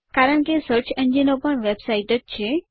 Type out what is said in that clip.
કારણ કે સર્ચ એન્જિનો પણ વેબસાઇટ્સ જ છે